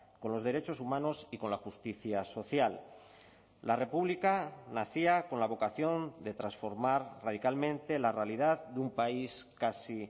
con los derechos humanos y con la justicia social la república nacía con la vocación de transformar radicalmente la realidad de un país casi